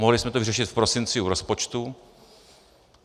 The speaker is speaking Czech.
Mohli jsme to vyřešit v prosinci u rozpočtu.